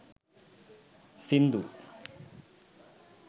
sindu